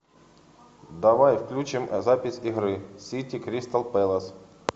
давай включим запись игры сити кристал пэлас